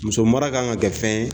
Musomara kan ka kɛ fɛn ye